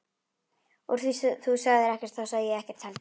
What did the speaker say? Úr því þú sagðir ekkert þá sagði ég ekkert heldur.